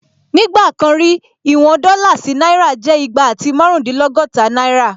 Nígbà kan rí, ìwọn dọ́là sí náírà jẹ́ igba àti márùndínlọ́gọ́ta náírà